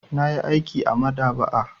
Na yi aiki a maɗaba'a.